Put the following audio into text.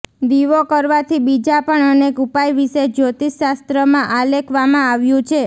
દીવો કરવાથી બીજા પણ અનેક ઉપાય વિશે જ્યોતિષશાસ્ત્રમાં આલેખવામાં આવ્યું છે